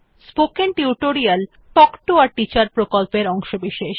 spoken tutorial talk to a teacher প্রকল্পের অংশবিশেষ